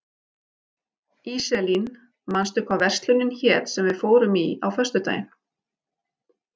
Íselín, manstu hvað verslunin hét sem við fórum í á föstudaginn?